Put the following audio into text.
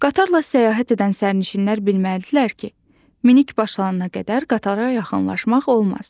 Qatarla səyahət edən sərnişinlər bilməlidirlər ki, minik başlayana qədər qatara yaxınlaşmaq olmaz.